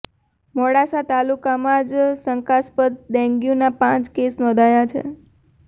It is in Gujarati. મોડાસા તાલુકામાં જ શંકાસ્પદ ડેન્ગ્યુના પાંચ કેસ નોંધાયા છે